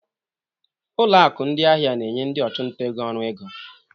Ụlọ akụ ndị ahịa na-enye ndị ọchụnta ego ọrụ ego.